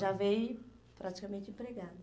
Já veio praticamente empregado.